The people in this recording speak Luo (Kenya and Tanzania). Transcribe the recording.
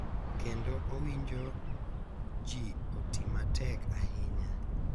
Kendo owinjo ji oti matek ahinya.